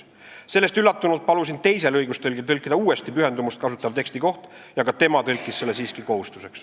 Sellest üllatunult palusin teisel õigustõlgil tõlkida uuesti koht, kus räägitakse pühendumusest, ja ka tema kasutas siiski sõna "kohustus".